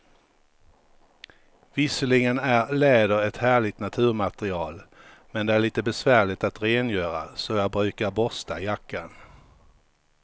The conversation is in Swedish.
Visserligen är läder ett härligt naturmaterial, men det är lite besvärligt att rengöra, så jag brukar borsta jackan.